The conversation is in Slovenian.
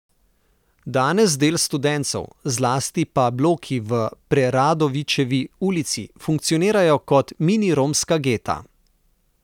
Danes del Studencev, zlasti pa bloki v Preradovičevi ulici funkcionirajo kot mini romska geta.